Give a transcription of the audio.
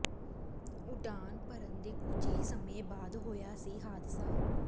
ਉਡਾਨ ਭਰਨ ਦੇ ਕੁਝ ਹੀ ਸਮੇਂ ਬਾਅਦ ਹੋਇਆ ਸੀ ਹਾਦਸਾ